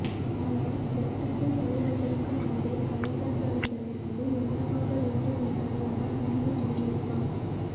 ஆனால் செட்டுக்குள் நுழைவதற்கு முன்பே கலைஞர்களிடமிருந்து என்ன வாங்க வேண்டும் என்பதை அவர் முடிவு செய்திருப்பார்